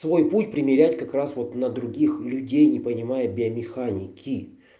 свой путь примерять как раз вот на других людей не понимая биомеханики